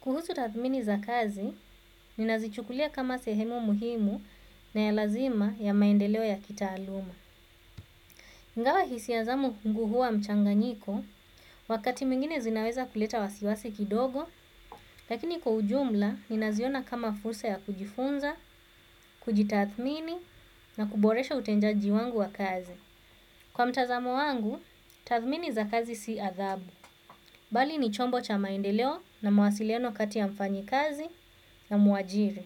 Kuhusu tathmini za kazi, ninazichukulia kama sehemu muhimu na ya lazima ya maendeleo ya kitaluma. Ingawa hisia zangu huwa mchanganyiko wakati mwingine zinaweza kuleta wasiwasi kidogo lakini kwa ujumla ninaziona kama fursa ya kujifunza kujitathmini na kuboresha utendaji wangu wa kazi. Kwa mtazamo wangu, tathmini za kazi si adhabu. Bali ni chombo cha maendeleo na mawasiliano kati ya mfanyikazi na muajiri.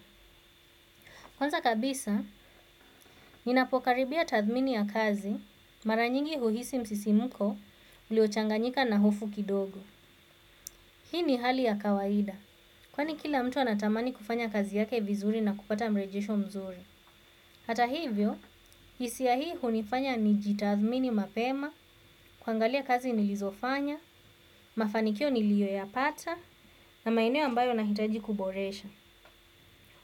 Kwanza kabisa, ninapokaribia tathmini ya kazi mara nyingi huhisi msisimuko uliochanganyika na hofu kidogo. Hii ni hali ya kawaida, kwani kila mtu anatamani kufanya kazi yake vizuri na kupata mrejesho mzuri. Hata hivyo, hisia hii hunifanya nijitathmini mapema, kuangalia kazi nilizofanya, mafanikio niliyoyapata, na maeneo ambayo nahitaji kuboresha.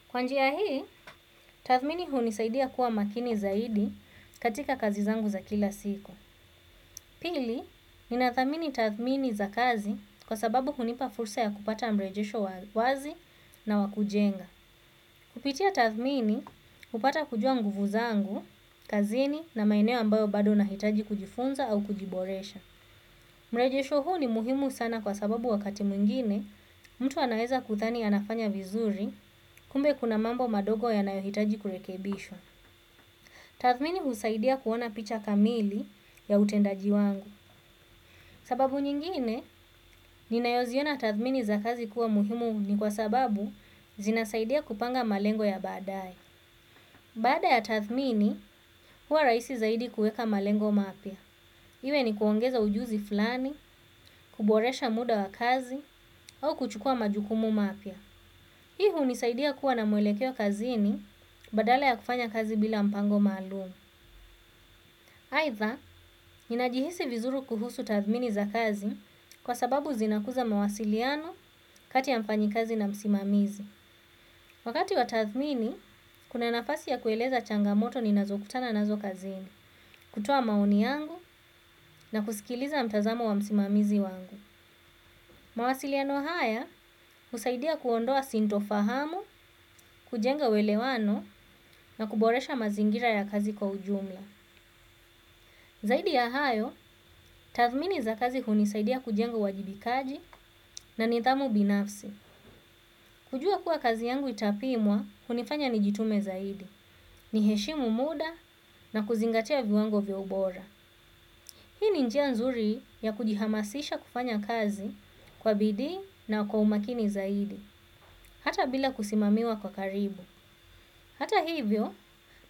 Kwa njia hii, tathmini hunisaidia kuwa makini zaidi katika kazi zangu za kila siku. Pili, ninathamini tathmini za kazi kwa sababu hunipa fursa ya kupata mrejesho wa wazi na wa kujenga. Kupitia tathmini, kupata kujua nguvu zangu, kazini na maeneo ambayo bado nahitaji kujifunza au kujiboresha. Mrejesho huu ni muhimu sana kwa sababu wakati mwingine mtu anaweza kudhani anafanya vizuri kumbe kuna mambo madogo yanayohitaji kurekebishwa. Tathmini husaidia kuona picha kamili ya utendaji wangu. Sababu nyingine, ninayoziona tathmini za kazi kuwa muhimu ni kwa sababu zinasaidia kupanga malengo ya badaaye. Baada ya tathmini, huwa rahisi zaidi kuweka malengo mapya. Iwe ni kuongeza ujuzi fulani, kuboresha muda wa kazi, au kuchukua majukumu mapya. Hii hunisaidia kuwa na mwelekeo kazini badala ya kufanya kazi bila mpango maalum. Aidha, ninajihisi vizuru kuhusu tathmini za kazi kwa sababu zinakuza mawasiliano kati ya mfanyikazi na msimamizi. Wakati wa tathmini, kuna nafasi ya kueleza changamoto ninazokutana nazo kazini, kutoa maoni yangu na kusikiliza mtazamo wa msimamizi wangu. Mawasiliano haya husaidia kuondoa sintofahamu, kujenga uelewano na kuboresha mazingira ya kazi kwa ujumla. Zaidi ya hayo, tathmini za kazi hunisaidia kujenga uwajibikaji na nidhamu binafsi. Kujua kuwa kazi yangu itapimwa, hunifanya nijitume zaidi. Ni heshimu muda na kuzingatia viwango vya ubora. Hii ni njia nzuri ya kujihamasisha kufanya kazi kwa bidii na kwa umakini zaidi. Hata bila kusimamiwa kwa karibu. Hata hivyo,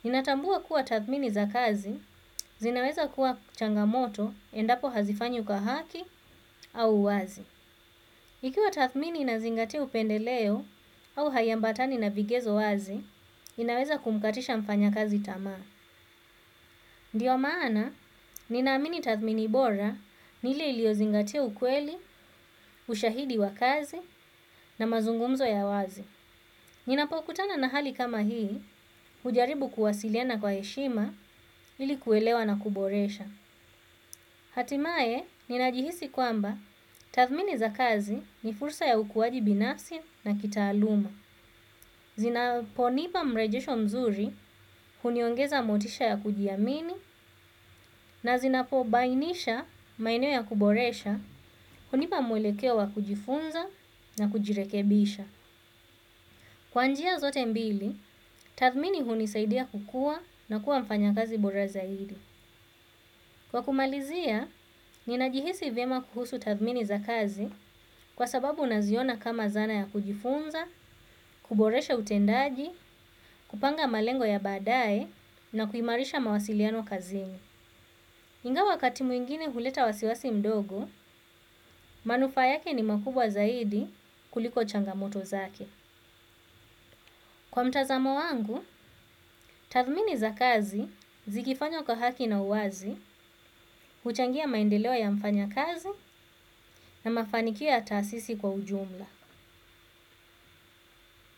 ninatambua kuwa tathmini za kazi zinaweza kuwa changamoto endapo hazifanywi kwa haki au wazi. Ikiwa tathmini inazingatia upendeleo au haiambatani na vigezo wazi, inaweza kumkatisha mfanyakazi tamaa. Ndio maana, ninaamini tathmini bora ni ile iliyozingatia ukweli, ushahidi wa kazi na mazungumzo ya wazi. Ninapokutana na hali kama hii, hujaribu kuwasiliana kwa heshima ili kuelewa na kuboresha. Hatimaye, ninajihisi kwamba tathmini za kazi ni fursa ya ukuaji binafsi na kitaaluma. Zinaponipa mrejesho mzuri, huniongeza motisha ya kujiamini, na zinapobainisha maeneo ya kuboresha, hunipa mwelekeo wa kujifunza na kujirekebisha. Kwa njia zote mbili, tathmini hunisaidia kukua na kuwa mfanyakazi bora zaidi. Kwa kumalizia, ninajihisi vyema kuhusu tathmini za kazi kwa sababu naziona kama zana ya kujifunza, kuboresha utendaji, kupanga malengo ya baadaye na kuimarisha mawasiliano kazini. Ingawa wakati mwingine huleta wasiwasi mdogo, manufaa yake ni makubwa zaidi kuliko changamoto zake. Kwa mtazamo wangu, tathmini za kazi, zikifanywa kwa haki na uwazi, huchangia maendeleo ya mfanyakazi na mafanikio ya taasisi kwa ujumla.